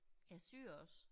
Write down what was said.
Ja syer også